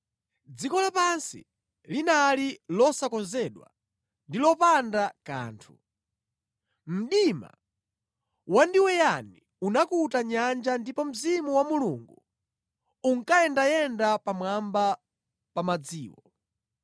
Dziko lapansi linali losakonzedwa ndi lopanda kanthu. Mdima wandiweyani unakuta nyanja ndipo Mzimu wa Mulungu unkayendayenda pamwamba pa madziwo.